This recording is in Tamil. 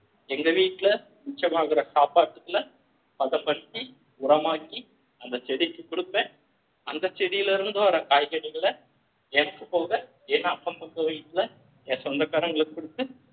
எங்க வீட்டுல மிச்சமாகிற சாப்பாட்டுக்குள்ள பதப்படுத்தி உரமாக்கி அந்த செடிக்கு கொடுப்ப அந்த செடியில இருந்து வர்ற காய்கறிகள எனக்கு போக என் அக்கம்பக்கம் வீட்டுல என் சொந்தக்காரங்களுக்கு கொடுத்து